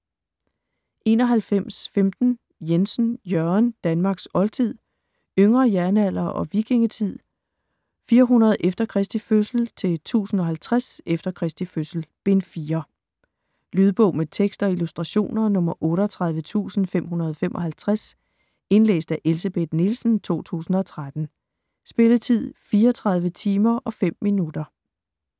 91.15 Jensen, Jørgen: Danmarks oldtid: Yngre jernalder og vikingetid 400 e.Kr-1050 e.Kr.: Bind 4 Lydbog med tekst og illustrationer 38555 Indlæst af Elsebeth Nielsen, 2013. Spilletid: 34 timer, 5 minutter.